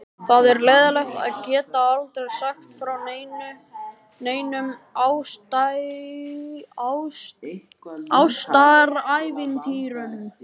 Það er leiðinlegt að geta aldrei sagt frá neinum ástarævintýrum.